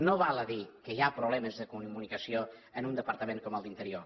no val a dir que hi ha problemes de comunicació en un departament com el d’interior